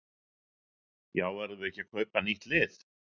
Já verðum við ekki að kaupa nýtt lið?